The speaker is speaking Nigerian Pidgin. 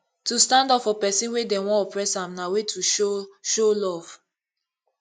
to stand up for persin wey dem won oppress am na way to show show love